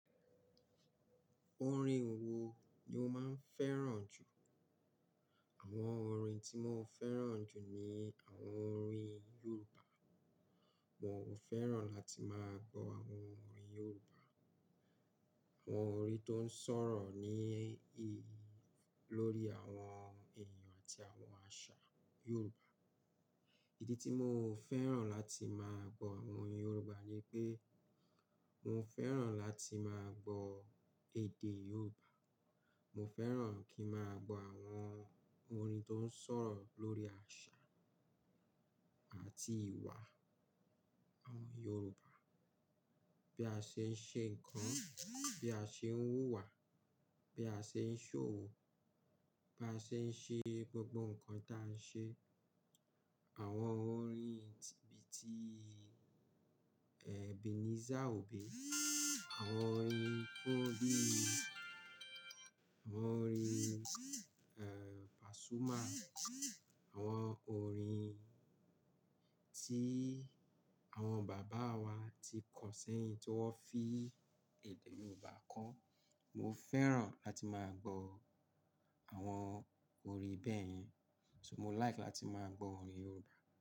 Orin wo ni o máa ń fẹ́ràn jù? Àwọn orin tí mo fẹ́ràn jù ni àwọn orin Yorùbá. Mo feran lati maa gbo awon orin yoruba awon orin to n soro ni lori awon eeyan ati awon asa yoruba. Ìdí tí mo fẹ́ràn láti máa gbọ àwọn orin Yorùbá ni pé mo fẹ́ràn láti máa gbọ èdè Yorùbá. Mo fẹ́ràn kí máa gbọ àwọn orin tó ń sọ̀rọ̀ lórí àṣà àti ìwà àwọn Yorùbá. Bí a ṣe ń ṣe ńǹkan, bí a ṣe ń wúwà, bí a ṣe ń ṣòwò, ba a ṣe ń ṣe gbogbo nǹkan ta a ń ṣe. Àwọn orin bíi ti, Ebenezer Obey, àwọn orin Fọláì, àwọn orin, eh, Pasuma, àwọn orin tí àwọn bàbá wa ti kọ sẹ́yìn tí wọ́n fi èdè Yorùbá kọ. Mo fẹ́ràn láti máa gbọ àwọn orin bẹ́ẹ̀ yẹn, so mo like láti máa gbọ orin Yorùbá.